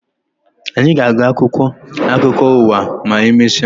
Anyị ga-agụ akwụkwọ akụkọ ụwa ma emesịa